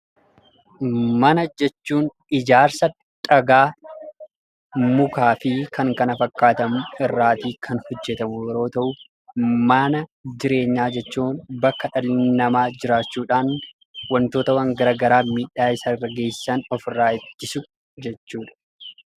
Mana jechuun; ijaarsa dhagaa, mukaafi Kan kana fakkaatamu irraa kan hojeetamu yommuu ta'u, man jireenyaa jechuun, bakki dhalli nama jiraachudhaan wantoota waan garagaraa miidhaa Isa irraa geesisan of irrà ittisu jechuudha